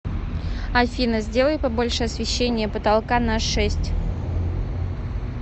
афина сделай побольше освещение потолка на шесть